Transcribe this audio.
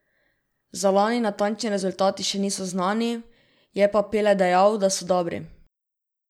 Za lani natančni rezultati še niso znani, je pa Pele dejal, da so dobri.